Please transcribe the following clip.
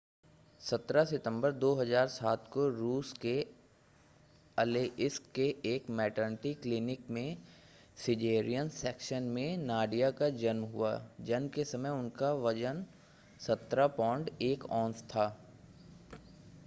17 सितंबर 2007 को रूस के अलेइस्क के एक मैटरनिटी क्लिनिक में सिज़ेरियन सेक्शन में नाडिया का जन्म हुआ जन्म के समय उसका वज़न बहुत ज़्यादा 17 पौंड 1 औंस था